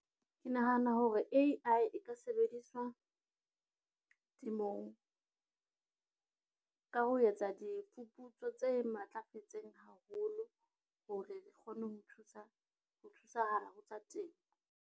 Ke nahana hore A_I e ka sebediswa temong ka ho etsa diphuputso tse matlafetseng haholo, hore re kgone ho thusa, ho thusahala ho tsa temo.